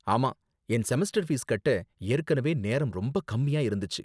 ஆமா, என் semester fees கட்ட ஏற்கனவே நேரம் ரொம்ப கம்மியா இருந்துச்சு.